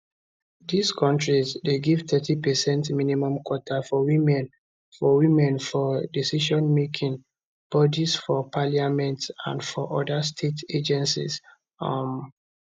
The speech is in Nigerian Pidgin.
dis kontris dey give thirty percent minimum quota for women for women for decisionmaking bodies for parliament and for oda state agencies um